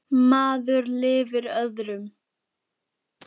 Maður lifir öðrum.